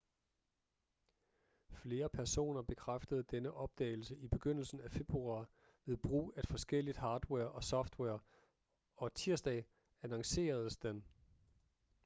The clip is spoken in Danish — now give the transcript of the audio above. flere personer bekræftede denne opdagelse i begyndelsen af februar ved brug af forskelligt hardware og software og tirsdag annonceredes den